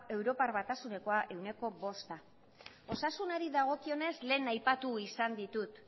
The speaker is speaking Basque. europar batasunekoa ehuneko bosta osasunari dagokionez lehen aipatu izan ditut